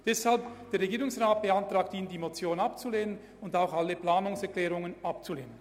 Deshalb beantragt Ihnen der Regierungsrat, diese Motion sowie alle Planungserklärungen abzulehnen.